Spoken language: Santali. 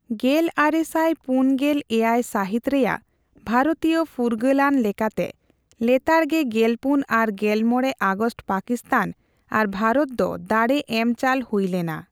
ᱜᱮᱞ ᱟᱨᱮ ᱥᱟᱭ ᱯᱩᱱ ᱜᱮᱞ ᱮᱭᱟᱭ ᱥᱟᱹᱦᱤᱛ ᱨᱮᱭᱟᱜ ᱵᱷᱟᱨᱚᱛᱤᱭᱚ ᱯᱷᱩᱨᱜᱟᱹᱞ ᱟᱹᱱ ᱞᱮᱠᱟᱛᱮ ᱞᱮᱛᱟᱲᱜᱮ ᱜᱮᱞᱯᱩᱱ ᱟᱨ ᱜᱮᱞᱢᱚᱲᱮ ᱟᱜᱚᱥᱴ ᱯᱟᱠᱤᱥᱛᱷᱟᱱ ᱟᱨ ᱵᱷᱟᱨᱚᱛ ᱫᱚ ᱫᱟᱲᱮ ᱮᱢ ᱪᱟᱞ ᱦᱩᱭ ᱞᱮᱱᱟ ᱾